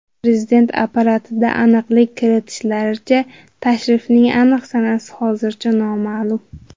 Prezident apparatida aniqlik kiritishlaricha, tashrifning aniq sanasi hozircha noma’lum.